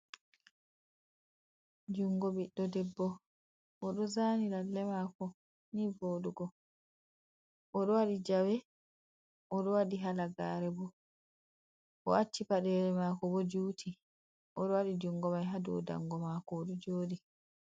Jungo biddo debbo, odo zani lalle mako ni vodugo. Odo wadi jawe, odo wadi halagare bo. O acci paɗeli mako bo juti, odo wadi jungo mai hado dango mako, odo joɗi.